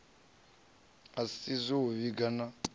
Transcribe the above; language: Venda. o isisa u vhiga na